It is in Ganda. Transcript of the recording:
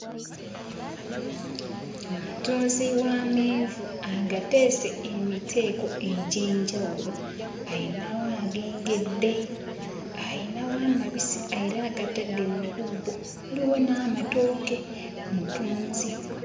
Omutunzi w'amenvu agateese emiteeko egy'enjawulo. Ayinawo agengedde, ayinawo amabisi era agatadde mu bubbo, waliwo n'amatooke; mutunzi.